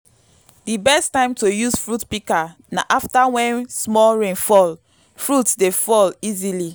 di best time to use fruit pika na afta wen small rain fall - fruit dey fall easily